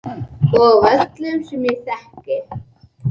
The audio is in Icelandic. Og af öllum sem ég þekki.